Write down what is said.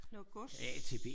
Noget gods